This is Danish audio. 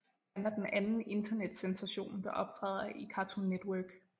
Han er den anden internetsensation der optæder i Cartoon Network